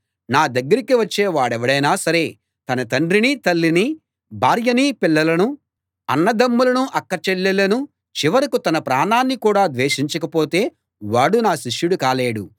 నా దగ్గరికి వచ్చే వాడెవడైనా సరే తన తండ్రినీ తల్లినీ భార్యనీ పిల్లలనూ అన్నదమ్ములనూ అక్కచెల్లెళ్ళనూ చివరకూ తన ప్రాణాన్ని కూడా ద్వేషించకపోతే వాడు నా శిష్యుడు కాలేడు